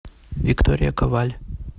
виктория коваль